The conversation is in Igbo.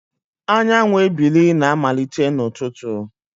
Anyanwụ ebili na-amalite n'ụtụtụ